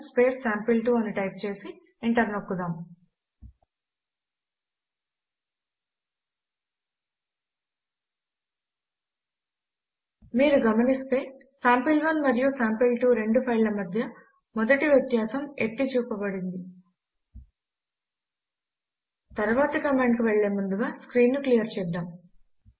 CMP sample one sample two అని type చేసి enter నొక్కుదాం మీరు గమనిస్తే సాంపిల్1 మరియు సాంపిల్2 రెండు ఫైళ్ల మధ్య మొదటి వ్యత్యాసం ఎత్తి చూపబడింది తరువాతి కమాండ్ కు వెళ్ళే ముందుగా స్క్రీన్ ను క్లియర్ చేద్దాము